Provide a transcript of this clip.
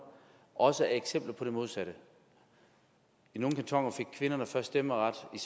også er eksempler på det modsatte i nogle kantoner fik kvinderne først stemmeret i